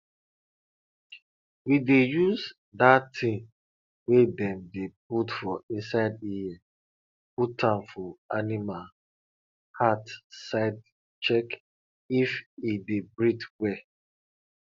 we dey use dat ting wey dem dey put for inside ear put am for animal heart side check if e dey breathe well